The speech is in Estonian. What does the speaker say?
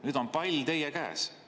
Nüüd on pall teie käes.